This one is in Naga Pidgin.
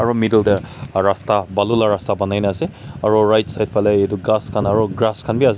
middle deh rasta balu lah rasta banai nah ase aro right side faley edu ghas khan aro grass khan bi ase.